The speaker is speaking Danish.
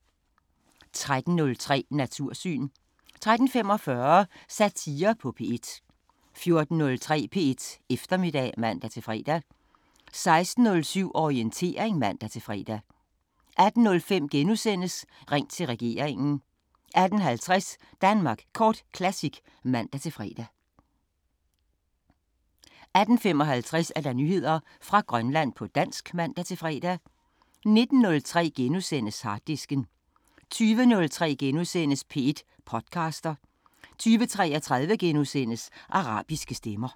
13:03: Natursyn 13:45: Satire på P1 14:03: P1 Eftermiddag (man-fre) 16:07: Orientering (man-fre) 18:05: Ring til regeringen * 18:50: Danmark Kort Classic (man-fre) 18:55: Nyheder fra Grønland på dansk (man-fre) 19:03: Harddisken * 20:03: P1 podcaster * 20:33: Arabiske Stemmer *